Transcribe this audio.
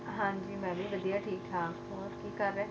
ਹਾਂਜੀ ਮੈਂ ਵੀ ਵਧੀਆ ਠੀਕ ਠਾਕ, ਹੋਰ ਕੀ ਕਰ ਰਹੇ